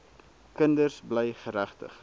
kinders bly geregtig